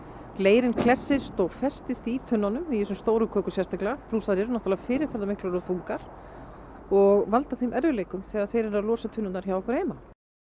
leirinn klessist og festist í tunnunum í þessum stóru kökum sérstaklega plús þær eru náttúrulega fyrirferðarmiklar og þungar og valda þeim erfiðleikum þegar þeir eru að losa tunnurnar hjá okkur heima